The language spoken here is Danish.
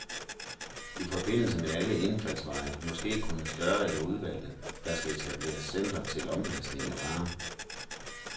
I forbindelse med alle indfaldsveje, måske kun større eller udvalgte, skal der etableres centre til omlastning af varer.